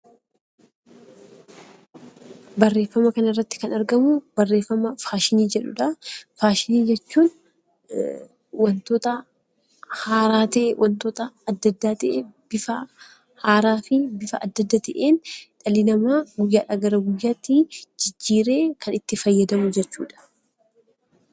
Barreeffama kana irratti kan argamu, barreeffama faashinii jedhudha. Faashinii jechuun waantota haaraa ta'e, waantota addaa addaa ta'een bifa haaraa ta'een dhalli namaa guyyaadhaa gara guyyaatti jijjiiree kan itti fayyadamu jechuudha.